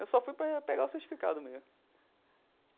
Eu só fui para pegar o certificado mesmo.